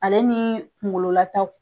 Ale nii kungolo lataw